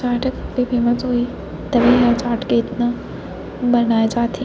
चाट famous होही तभे इहा चाट के इतना बनाए जात हे।